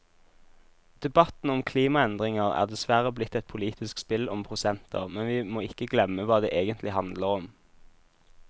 Debatten om klimaendringer er dessverre blitt et politisk spill om prosenter, men vi må ikke glemme hva det egentlig handler om.